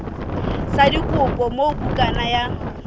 sa dikopo moo bukana ya